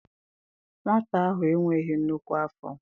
Nwata ahụ e nweghị nnukwu afọ.